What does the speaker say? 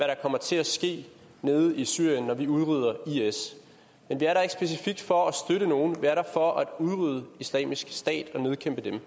der kommer til at ske nede i syrien når vi udrydder is men vi er der ikke specifikt for at støtte nogen vi er der for at udrydde islamisk stat og nedkæmpe dem